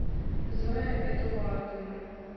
зоя эдуардовна